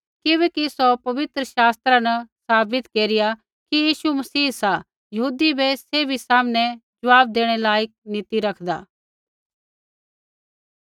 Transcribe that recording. किबैकि सौ पवित्र शास्त्रा न साबित केरिया कि यीशु मसीह सा यहूदी बै सैभी सामनै ज़वाब देणै लायक नी ती रखदा